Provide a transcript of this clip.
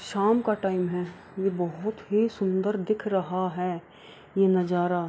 शाम का टाइम है ये बहुत ही सुन्दर दिख रहा है ये नजारा --